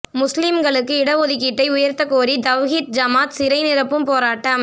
முஸ்லீம்களுக்கு இட ஒதுக்கீட்டை உயர்த்தக்கோரி தவ்ஹீத் ஜமாத் சிறை நிரப்பும் போராட்டம்